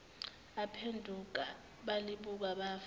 baphenduka balibuka bafa